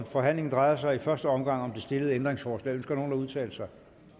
forhandlingen drejer sig i første omgang om det stillede ændringsforslag ønsker nogen at udtale sig